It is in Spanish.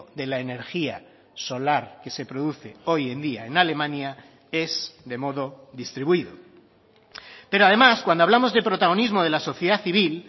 de la energía solar que se produce hoy en día en alemania es de modo distribuido pero además cuando hablamos de protagonismo de la sociedad civil